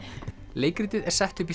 leikritið er sett upp í